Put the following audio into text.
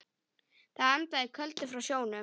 Það andaði köldu frá sjónum.